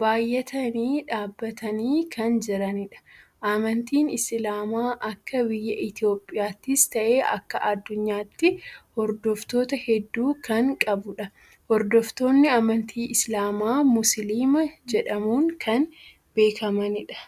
baayyatanii dhaabbatanii kan jiranidha. Amantiin islaamaa akka biyya Itiyoophiyaattis ta'ee akka adduunyaatti hordoftoota heddu kan qabudha. Hordoftoonni amantii islaamaa musliima jedhamun kan beekamanidha.